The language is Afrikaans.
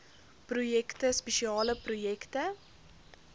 projekte spesiale projekte